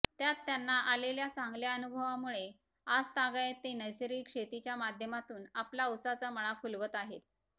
त्यात त्यांना आलेल्या चांगल्या अनुभवामुळे आजतागायत ते नैसर्गिक शेतीच्या माध्यमातून आपला उसाचा मळा फुलवत आहेत